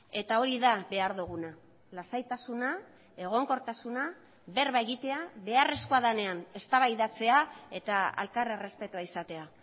eta hori da behar duguna lasaitasuna egonkortasuna berba egitea beharrezkoa denean eztabaidatzea eta elkar errespetua izatea